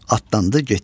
Atlandı, getdi.